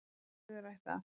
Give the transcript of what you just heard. Í föðurætt af